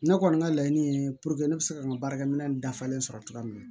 Ne kɔni ka laɲini ye ne bɛ se ka n ka baarakɛminɛ dafalen sɔrɔ cogoya min na